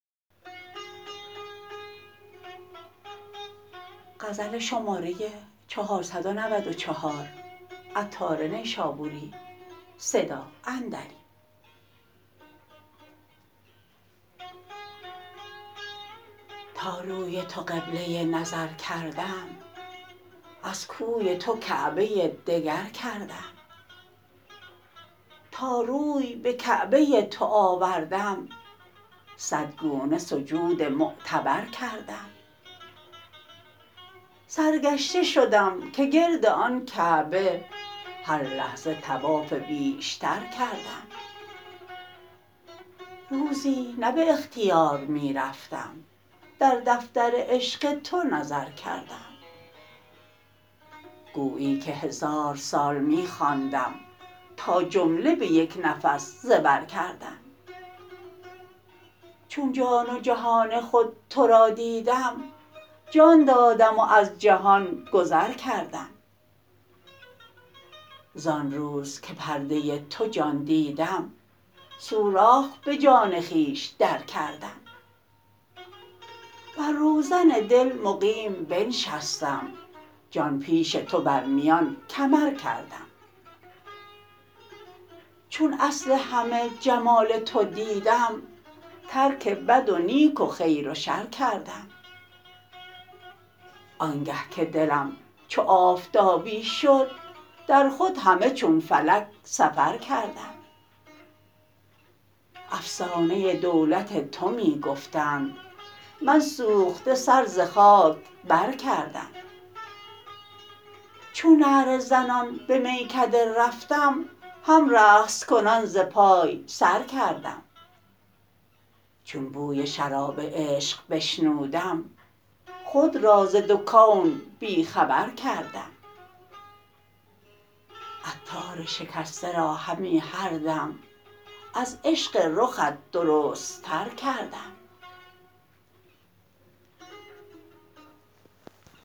تا روی تو قبله نظر کردم از کوی تو کعبه دگر کردم تا روی به کعبه تو آوردم صد گونه سجود معتبر کردم سرگشته شدم که گرد آن کعبه هر لحظه طواف بیشتر کردم روزی نه به اختیار می رفتم در دفتر عشق تو نظر کردم گویی که هزار سال می خواندم تا جمله به یک نفس زبر کردم چون جان و جهان خود تو را دیدم جان دادم و از جهان گذر کردم زآن روز که پرده تو جان دیدم سوراخ به جان خویش در کردم بر روزن دل مقیم بنشستم جان پیش تو بر میان کمر کردم چون اصل همه جمال تو دیدم ترک بد و نیک و خیر و شر کردم آنگه که دلم چو آفتابی شد در خود همه چون فلک سفر کردم افسانه دولت تو می گفتند من سوخته سر ز خاک بر کردم چون نعره زنان به میکده رفتم هم رقص کنان ز پای سر کردم چون بوی شراب عشق بشنودم خود را ز دو کون بی خبر کردم عطار شکسته را همی هر دم از عشق رخت درست تر کردم